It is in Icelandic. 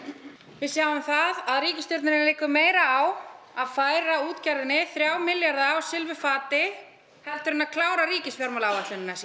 við sjáum það að ríkisstjórninni liggur meira á að færa útgerðinni þrjá milljarða á silfurfati heldur en að klára ríkisfjármálaáætlunina sína